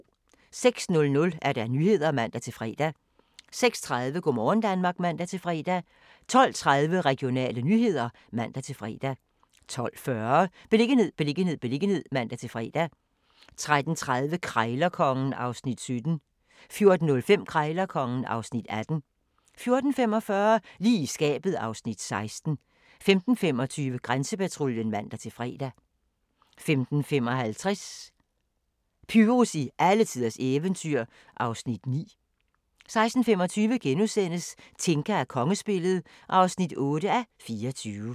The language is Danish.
06:00: Nyhederne (man-fre) 06:30: Go' morgen Danmark (man-fre) 12:30: Regionale nyheder (man-fre) 12:40: Beliggenhed, beliggenhed, beliggenhed (man-fre) 13:30: Krejlerkongen (Afs. 17) 14:05: Krejlerkongen (Afs. 18) 14:45: Lige i skabet (Afs. 16) 15:25: Grænsepatruljen (man-fre) 15:55: Pyrus i alletiders eventyr (Afs. 9) 16:25: Tinka og kongespillet (8:24)*